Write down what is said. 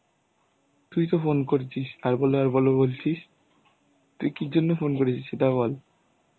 তুই তো phone করেছিস আর বললে আর বলো বলছিস তুই কি জন্য phone করেছিস সেটা বল?